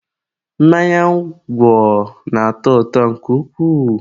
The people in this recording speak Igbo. mmanya ngwọ na-atọ ụtọ nke ukwuu